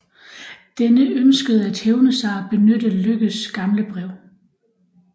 Denne ønskede at hævne sig og benyttede Lykkes gamle brev